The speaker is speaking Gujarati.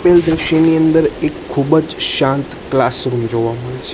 આપેલ દ્રશ્યની અંદર એક ખૂબજ શાંત ક્લાસરૂમ જોવા મળે--